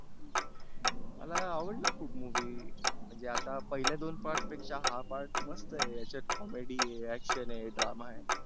मला आवडला खुप movie म्हणजे आता पहिल्या दोन part पेक्षा हा part मस्त आहे. याच्यात comedy आहे, action आहे, drama आहे.